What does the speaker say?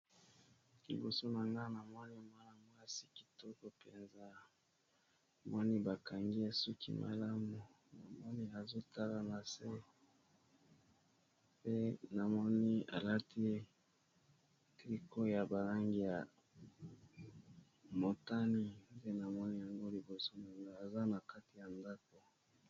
Liboso na nga na mwani mwana mwasi kitoko mpenza moni bakangi esuki malamu na moni azotala na se pe namoni alati triko ya balangi ya motani te na moni yango liboso nanga aza na kati ya ndako.